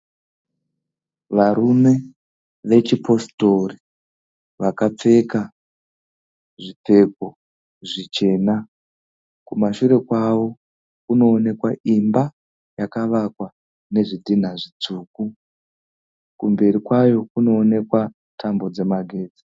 Varume vechipositori vakapfeka zvipfeko zvichena. Kumashure kwavo kunoonekwa imba yakavakwa nezvidhinha zvitsvuku. kumberi kwayo kunoonekwa tambo dzemagetsi.